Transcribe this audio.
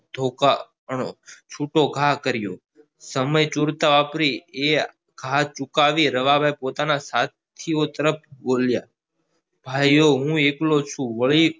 ધોકાનો નો છૂટો ઘા કર્યો સમય તુરત વાપરી એ હાથ ઝુકાવી રવા ભાઈ પોતાના સાથીઓ તરફ બોલ્યા ભાઈઓ હું એકલો છું